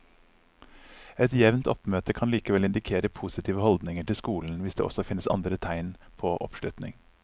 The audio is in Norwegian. Et jevnt oppmøte kan likevel indikere positive holdninger til skolen hvis det også finnes andre tegn på oppslutning.